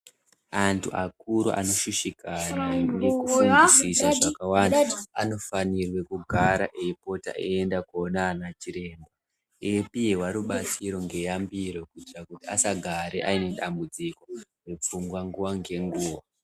Antu akuru anoshushikana nekufungisisa zvakawanda, anofanirwe kugara aipota aienda kunoona anachiremba eipihwa rubatsiro neyambiro kuitira kuti asagara anedambudziko mupfungwa nguwa nenguwa.